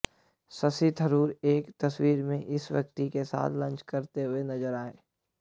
शशि थरूर एक तस्वीर में इस व्यक्ति के साथ लंच करते हुए नज़र आये